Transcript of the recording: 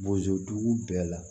Bozo dugu bɛɛ la